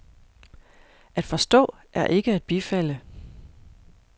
At forstå er ikke at bifalde.